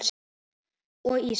og Ísak.